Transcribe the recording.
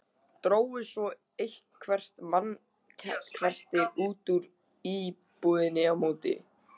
Drógu svo eitthvert mannkerti út úr íbúðinni á móti.